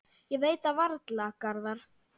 Ég veit það varla, Garðar.